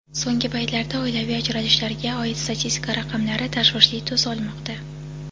So‘nggi paytlarda oilaviy ajralishlarga oid statistika raqamlari tashvishli tus olmoqda.